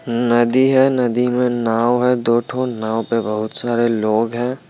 नदी है नदी में नाव है दोठो नाव पे बहोत सारे लोग हैं।